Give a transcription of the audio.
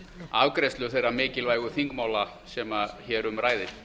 afgreiðslu þeirra mikilvægu þingmála sem hér um ræðir